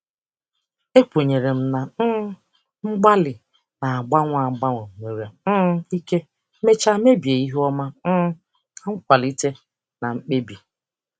Ekwenyere m na um mgbalị na-agbanwe agbanwe nwere um ike mechaa mebie ihu ọma um na nkwalite na mkpebi.